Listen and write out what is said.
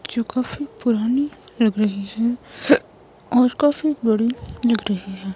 जो काफी पुरानी लग रही है और काफी बड़ी लग रही है.